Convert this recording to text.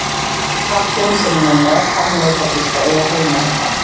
Kallinn sem hún er með harðneitar víst að eiga heima hérna.